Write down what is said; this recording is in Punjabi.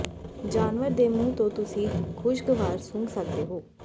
ਜਾਨਵਰ ਦੇ ਮੂੰਹ ਤੋਂ ਤੁਸੀਂ ਖੁਸ਼ਗਵਾਰ ਸੁੰਘ ਸਕਦੇ ਹੋ